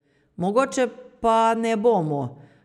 Mogoče pa ne bomo.